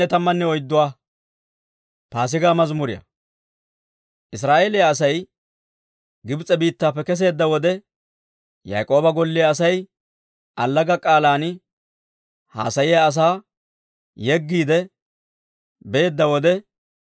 Israa'eeliyaa Asay Gibs'e biittaappe keseedda wode, Yaak'ooba golliyaa asay, allaga k'aalan haasayiyaa asaa yeggiide beedda wode,